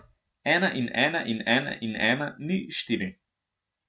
Ena in ena in ena in ena ni štiri.